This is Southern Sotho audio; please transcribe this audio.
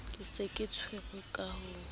ka se tshwarwe ka ho